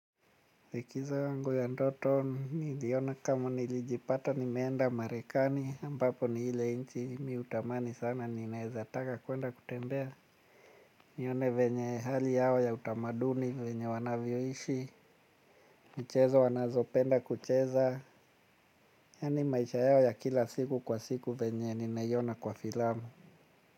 Likizo yangu ya ndoto niliyona kama nilijipata nimeenda marekani ambapo ni ile inchi mi hutamani sana ninaezataka kuenda kutembea. Nione venye hali yao ya utamaduni venye wanavyoishi. Michezo wanazo penda kucheza. Yani maisha yao ya kila siku kwa siku venye ninaiona kwa filamu.